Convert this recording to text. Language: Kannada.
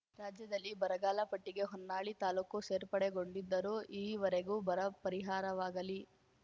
ರಾಜ್ಯದಲ್ಲಿ ಬರಗಾಲ ಪಟ್ಟಿಗೆ ಹೊನ್ನಾಳಿ ತಾಲೂಕು ಸೇರ್ಪಡೆಗೊಂಡಿದ್ದರೂ ಈವರೆಗೂ ಬರ ಪರಿಹಾರವಾಗಲಿ